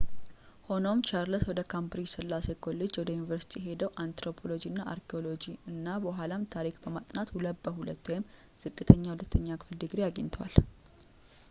ሆኖም ቻርልስ ወደ ካምብሪጅ ሥላሴ ኮሌጅ ወደ ዩኒቨርስቲ የሄደው አንትሮፖሎጂ እና አርኪኦሎጂ እና በኋላም ታሪክን በማጥናት 2፡2 ዝቅተኛ ሁለተኛ ክፍል ድግሪ አግኝቷል